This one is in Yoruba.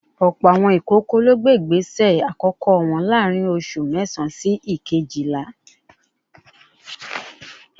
Ọ̀pọ̀ àwọn ìkókó ló gbé ìgbésẹ àkọ́kọ́ wọn láàárín oṣù mẹ́sàán sí ìkéjìlá